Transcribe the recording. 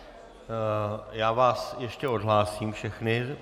Já vás ještě odhlásím všechny.